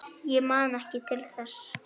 Ég man ekki til þess.